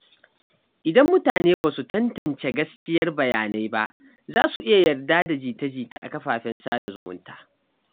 Idan mutane ba su tantance gaskiyar bayanai ba, za su iya yarda da jita-jita a kafafen sada zumunta.